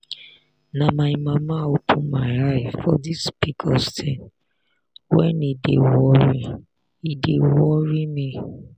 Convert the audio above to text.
na my mama open my eye for this pcos thing when e dey worry e dey worry me.